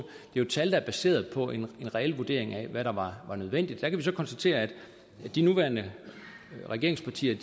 jo et tal der er baseret på en reel vurdering af hvad der var nødvendigt der kan vi så konstatere at de nuværende regeringspartier